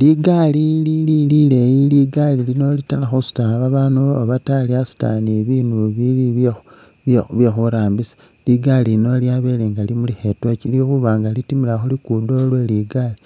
Ligaali lili lileyi ligaali lino litaala khusuuta babaandu oba ta lyasuuta ni bibindu bili bye bye khurambisa ligaali lino lyabele nga limulikha i'torch lwekhuba nga litimila khu lugudo lweli ligaali